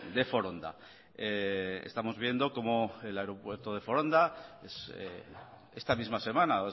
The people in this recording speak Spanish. de foronda estamos viendo como el aeropuerto de foronda esta misma semana